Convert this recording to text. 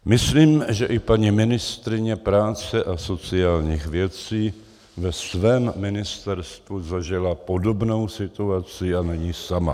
Myslím, že i paní ministryně práce a sociálních věcí ve svém ministerstvu zažila podobnou situaci, a není sama.